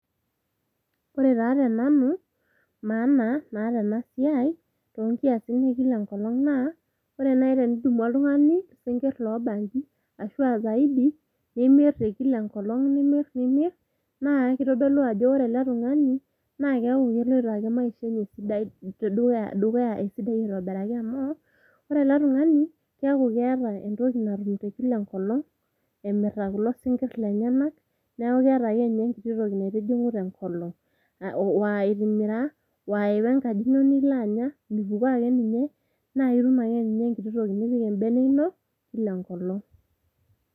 Ore taa tenanu maana naata ena siai toonkisin ekila enkolong naa ore naji tenidum oltungani isinkir lobanji ashuaa zaidi nimir te kila enkolong, nimir naa kitodolu ajo ore ele tungani naa keloita ake maisha enye esidai dukuya esidai aitobiraki amu ore ele tungani keaku keeta entoki natum te kila enkolong emirta kulosinkir lenyenak niaku keeta ekenye enkiti toki naitijingu tenkolong .Wa itimira ,wa iwa enkaji ino nilo anya mipukoo ake ninye naa ketum ake ninye enkiti toki nipik embene ino kila enkolong.